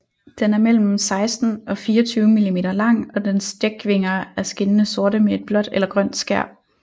Den er mellem 16 og 24 mm lang og dens dækvinger er skinnende sorte med et blåt eller grønt skær